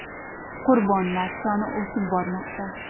Qurbonlar soni o‘sib bormoqda.